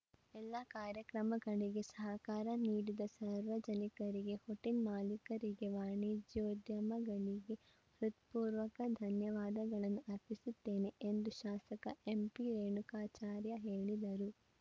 ಎಲ್ಲಾ ಕಾರ್ಯಕ್ರಮಗಳಿಗೆ ಸಹಕಾರ ನೀಡಿದ ಸಾರ್ವಜನಿಕರಿಗೆ ಹೋಟೆಲ್‌ ಮಾಲೀಕರಿಗೆ ವಾಣಿಜ್ಯೋದ್ಯಮಿಗಳಿಗೆ ಹೃತ್ಪೂರ್ವಕ ಧನ್ಯವಾದಗಳನ್ನು ಅರ್ಪಿಸುತ್ತೇನೆ ಎಂದು ಶಾಸಕ ಎಂಪಿರೇಣುಕಾಚಾರ್ಯ ಹೇಳಿದರು